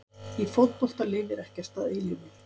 Í fótbolta lifir ekkert að eilífu.